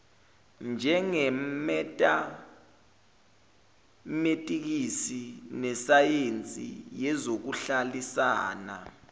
njengemetametikisi nesayensi yezokuhlalisana